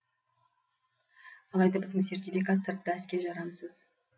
алайда біздің сертификат сыртта іске жарамсыз